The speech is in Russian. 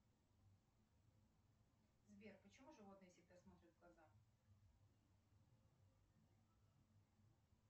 сбер почему животные всегда смотрят в глаза